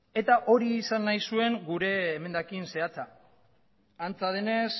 eta hori izan nahi zuen gure emendakin zehatza antza denez